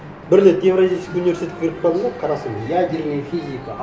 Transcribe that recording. бір рет евразийский университетке кіріп бардым да қарасам ядерная физика